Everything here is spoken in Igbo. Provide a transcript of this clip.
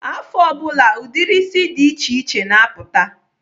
Afọ ọ bụla, ụdịrị isi dị iche iche na-apụta.